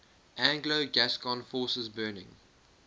anglo gascon forces burning